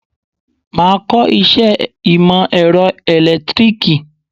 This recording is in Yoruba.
Máa kọ iṣẹ́ ìmò èrọ ẹ̀lẹ́tíríkì.